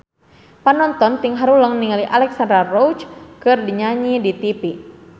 Panonton ting haruleng ningali Alexandra Roach keur nyanyi di tipi